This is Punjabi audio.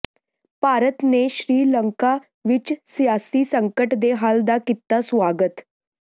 ਭਾਰਤ ਨੇ ਸ੍ਰੀ ਲੰਕਾ ਵਿਚ ਸਿਆਸੀ ਸੰਕਟ ਦੇ ਹੱਲ ਦਾ ਕੀਤਾ ਸੁਆਗਤ